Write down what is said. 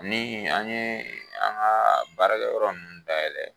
Ni an ye an ka baarakɛ yɔrɔ ninnu dayɛlɛ.